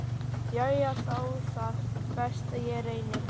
Jæja, þá það, best ég reyni.